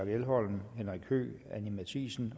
elholm henrik høegh anni matthiesen